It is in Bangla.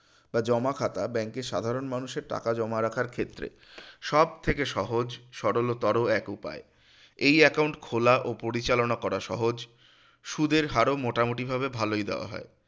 বা জমা খাতা bank এ সাধারণ মানুষের টাকা জমা রাখার ক্ষেত্রে সবথেকে সহজ সরলতর এক উপায় এই account খোলা ও পরিচালনা করা সহজ সুদের হারও মোটামুটি ভাবে ভালই দেওয়া হয়